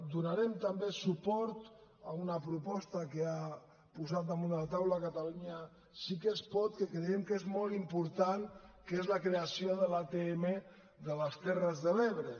donarem també suport a una proposta que ha posat damunt de la taula catalunya sí que es pot que creiem que és molt important que és la creació de l’atm de les terres de l’ebre